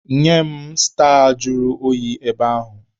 Nye m staa juru oyi ebe ahụ!